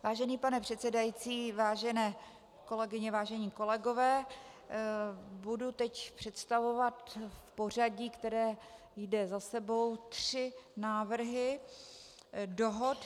Vážený pane předsedající, vážené kolegyně, vážení kolegové, budu teď představovat v pořadí, které jde za sebou, tři návrhy dohod.